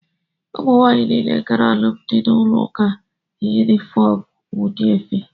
Ụmụ nwanyị niile gara alụmdị n'ụlọ ụka yi ofu udi efe